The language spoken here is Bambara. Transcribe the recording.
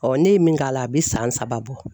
ne ye min k'a la a bɛ san saba bɔ.